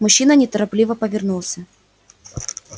мужчина неторопливо повернулся